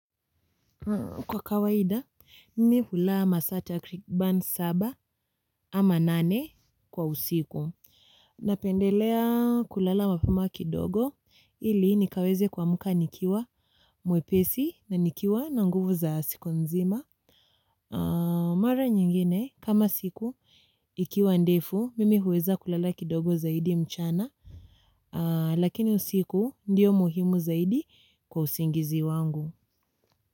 Kwa kawaida, mimi hulaa masa takriban saba ama nane kwa usiku. Napendelea kulala mapema kidogo ili nikaweze kwa muka nikiwa muepesi na nikiwa na nguvu za siku nzima. Mara nyingine, kama siku ikiwa ndefu, mimi huweza kulala kidogo zaidi mchana. Lakini usiku ndiyo muhimu zaidi kwa usingizi wangu.